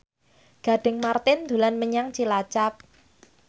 Gading Marten dolan menyang Cilacap